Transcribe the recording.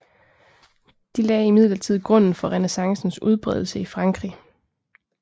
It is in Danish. De lagde imidlertid grunden for renæssancens udbredelse i Frankrig